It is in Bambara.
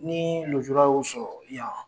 Ni nujura y'u sɔrɔ yan